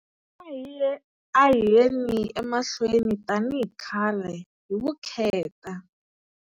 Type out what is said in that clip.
A hi yeni emahlweni, tanihi khale, hi vukheta.